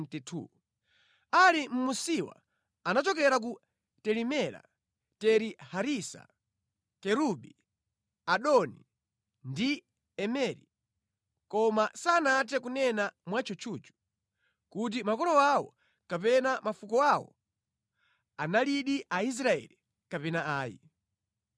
Ali munsiwa anachokera ku Teli-Mela, Teri-Harisa, Kerubi, Adoni, ndi Imeri, koma sanathe kunena mwa tchutchutchu kuti makolo awo kapena mafuko awo analidi Aisraeli kapena ayi.